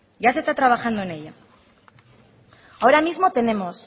ahora mismo tenemos